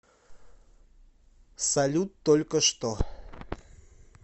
салют только что